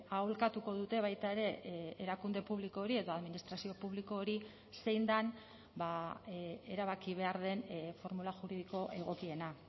aholkatuko dute baita ere erakunde publiko hori edo administrazio publiko hori zein den erabaki behar den formula juridiko egokiena